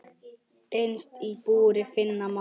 Innst í búri finna má.